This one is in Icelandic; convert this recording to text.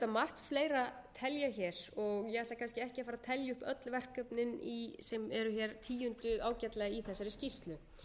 margt fleira telja hér og ég ætla kannski ekki að fara að telja upp öll verkefnin sem eru hér tíunduð ágætlega í þessari skýrslu